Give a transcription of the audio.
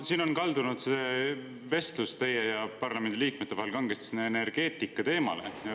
Siin on kaldunud see vestlus teie ja parlamendi liikmete vahel kangesti energeetikateemale.